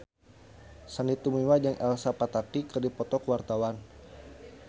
Sandy Tumiwa jeung Elsa Pataky keur dipoto ku wartawan